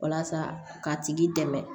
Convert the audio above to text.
Walasa k'a tigi dɛmɛ